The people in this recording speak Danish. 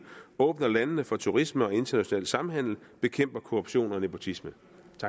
åbner landene for turisme og international samhandel og bekæmper korruption og nepotisme